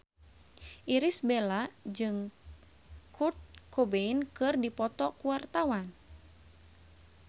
Irish Bella jeung Kurt Cobain keur dipoto ku wartawan